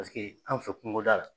Paseke anw fɛ kunko da la